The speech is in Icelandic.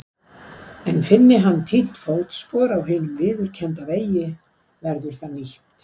En finni hann týnt fótspor á hinum viðurkennda vegi verður það nýtt.